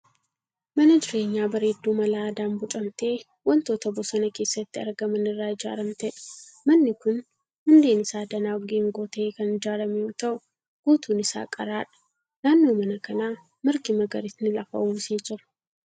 Mana jireenyaa bareedduu mala aadaan boocamtee wantoota bosona keessatti argaman irraa ijaaramteedha. Manni kun hundeen isaa danaa geengoo ta'ee kan ijaarame yoo ta'u guutuun isaa qaraadha. Naannoo mana kanaa margi magariisni lafa uwwisee jira.